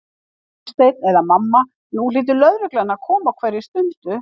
Gunnsteinn eða mamma, nú hlýtur lögreglan að koma á hverri stundu.